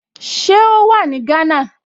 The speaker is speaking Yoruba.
Ṣé ó wà ní Gánà?